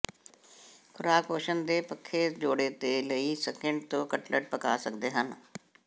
ਖੁਰਾਕ ਪੋਸ਼ਣ ਦੇ ਪੱਖੇ ਜੋੜੇ ਦੇ ਲਈ ਸਕਿਡ ਤੋਂ ਕਟਲਟ ਪਕਾ ਸਕਦੇ ਹਨ